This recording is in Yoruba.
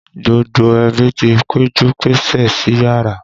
Gbogbo ẹbí ti péjú pésè síyàrá.